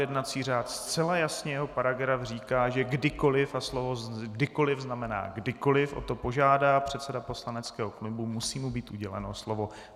Jednací řád zcela jasně - jeho paragraf říká, že kdykoliv - a slovo kdykoliv znamená kdykoliv - o to požádá předseda poslaneckého klubu, musí mu být uděleno slovo.